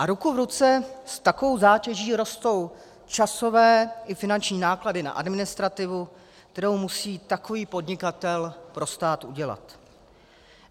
A ruku v ruce s takovou zátěží rostou časové i finanční náklady na administrativu, kterou musí takový podnikatel pro stát udělat.